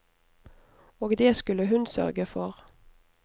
Og det skulle hun sørge for.